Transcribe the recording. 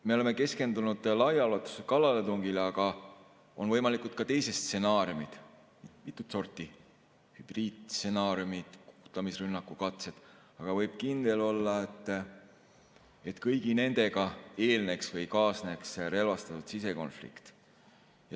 Me oleme keskendunud laiaulatuslikule kallaletungile, aga on võimalikud ka teised stsenaariumid, mitut sorti hübriidstsenaariumid, kukutamisrünnakukatsed, aga võib kindel olla, et kõigile nendele eelneks või nendega kaasneks relvastatud sisekonflikt.